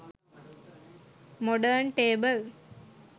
modern table